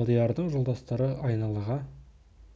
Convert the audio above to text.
алдиярдың жолдастары айналаға